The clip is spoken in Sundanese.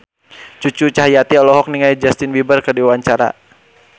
Cucu Cahyati olohok ningali Justin Beiber keur diwawancara